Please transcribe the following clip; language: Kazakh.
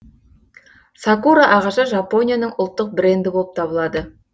сакура ағашы жапонияның ұлттық бренді болып табылады